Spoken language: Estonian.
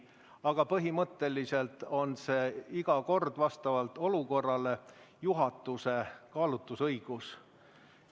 Aga põhimõtteliselt on see iga kord vastavalt olukorrale juhatuse kaalutlusõigus.